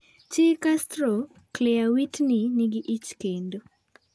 Chi Castro ,Clear Witney nigi ich kendo